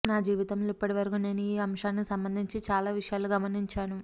నా జీవితంలో ఇప్పటి వరకు నేను ఈ అంశానికి సంబంధించి చాలా విషయాలు గమనించాను